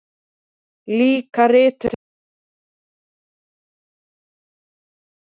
Líka rithöfundar, líka vísindamenn, líka heimspekingar.